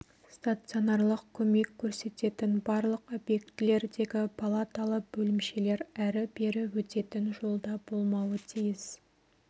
стационарлық көмек көрсететін барлық объектілердегі палаталы бөлімшелер әрі-бері өтетін жолда болмауы тиіс